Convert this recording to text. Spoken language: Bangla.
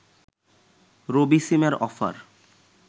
রবি সিমের অফার